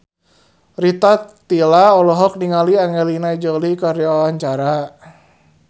Rita Tila olohok ningali Angelina Jolie keur diwawancara